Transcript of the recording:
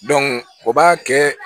o b'a kɛ